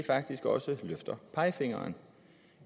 faktisk også løfter pegefingeren